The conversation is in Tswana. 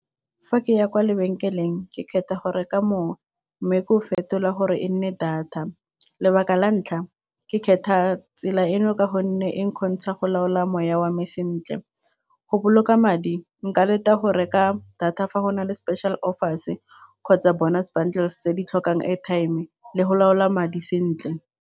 Fa ke ya kwa lebenkeleng ke kgetha go reka mowa mme ke o fetola gore e nne data lebaka la ntlha ke kgetha tsela eno ka gonne e kgontsha go laola moya ya wame sentle, go boloka madi nka leta a go reka data fa go na le special offers kgotsa bonus bundles tse di tlhokang airtime-e le go laola madi sentle.